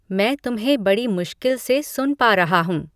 मैं तुम्हें बड़ी मुश्किल से सुन पा रहा हूँ